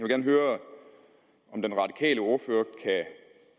gerne høre om den radikale ordfører